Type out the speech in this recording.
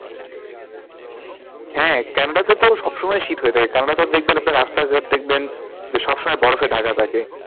হ্যাঁ, কানাডাতে তো সব সময় শীত হয়ে থাকে কানাডাতে তো দেখবেন আপনার রাস্তা ঘাট দেখবেন যে সব সময় বরফে ঢাকা থাকে।